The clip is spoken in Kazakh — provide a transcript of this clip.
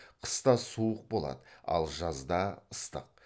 қыста суық болады ал жазда ыстық